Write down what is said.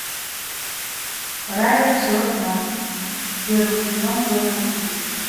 рая все знает первый сезон первая серия